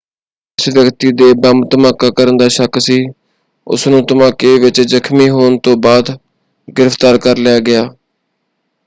ਜਿਸ ਵਿਅਕਤੀ 'ਤੇ ਬੰਬ ਧਮਾਕਾ ਕਰਨ ਦਾ ਸ਼ੱਕ ਸੀ ਉਸਨੂੰ, ਧਮਾਕੇ ਵਿੱਚ ਜ਼ਖਮੀ ਹੋਣ ਤੋਂ ਬਾਅਦ ਗ੍ਰਿਫ਼ਤਾਰ ਕਰ ਲਿਆ ਗਿਆ।